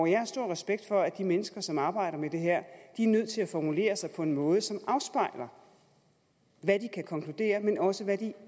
jeg har stor respekt for at de mennesker som arbejder med det her er nødt til at formulere sig på en måde som afspejler hvad de kan konkludere men også hvad de